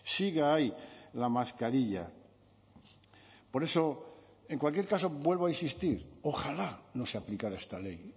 siga ahí la mascarilla por eso en cualquier caso vuelvo a insistir ojalá no se aplicara esta ley